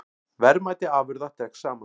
Verðmæti afurða dregst saman